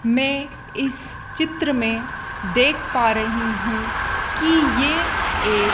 मैं इस चित्र में देख पा रही हूं कि ये एक--